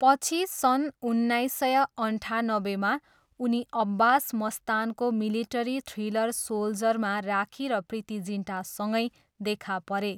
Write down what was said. पछि सन् उन्नाइस सय अन्ठानब्बेमा, उनी अब्बास मस्तानको मिलिटरी थ्रिलर सोल्जरमा राखी र प्रीति जिन्टासँगै देखा परे।